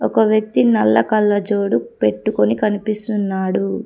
ఒక వ్యక్తి నల్ల కళ్ళజోడు పెట్టుకొని కనిపిస్తున్నాడు.